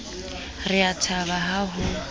re a thaba ha ho